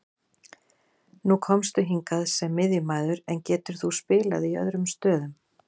Nú komstu hingað sem miðjumaður, en getur þú spilað í öðrum stöðum?